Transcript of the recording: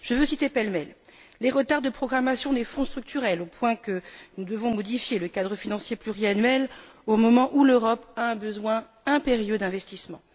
Je veux citer pêle mêle les retards de programmation des Fonds structurels, au point que nous devons modifier le cadre financier pluriannuel au moment où l'Europe a un besoin impérieux d'investissements